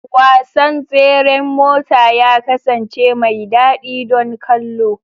Wasan tseren mota ya kasance mai daɗi don kallo.